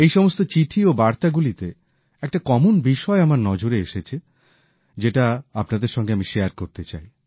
এই সমস্ত চিঠি ও বার্তাগুলীতে একটা কমন বিষয় আমার নজরে এসেছে যেটা আপনাদের সঙ্গে আমি ভাগ করে নিতে চাই